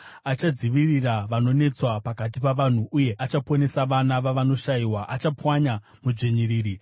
Achadzivirira vanonetswa pakati pavanhu, uye achaponesa vana vavanoshayiwa; achapwanya mudzvinyiriri.